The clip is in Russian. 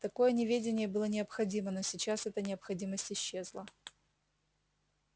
такое неведение было необходимо но сейчас эта необходимость исчезла